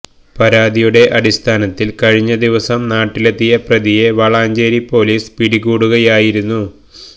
പരാതിയുടെ അടിസ്ഥാനത്തില് കഴിഞ്ഞ ദിവസം നാട്ടിലെത്തിയ പ്രതിയെ വളാഞ്ചേരി പോലീസ് പിടികൂടുകയായിരുന്നു